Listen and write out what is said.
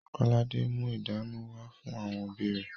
Kolade mú ìdunu wá fún àwọn òbí rẹ̀